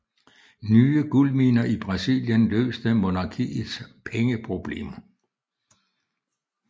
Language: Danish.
Nye guldminer i Brasilien løste monarkiets pengeproblemer